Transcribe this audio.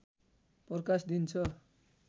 प्रकाश दिन्छ